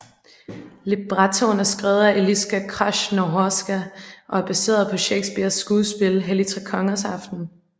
Librettoen er skrevet af Eliska Krásnohorská og er baseret på Shakespeares skuespil Helligtrekongersaften